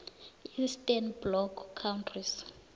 eastern bloc countries